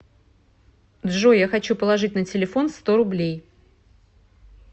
джой я хочу положить на телефон сто рублей